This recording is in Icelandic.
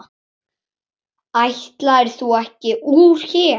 Ætlaðir þú ekki úr hér?